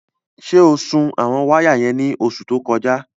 Ṣé o sun àwọn wáyà yẹn ní oṣù tó kọjá?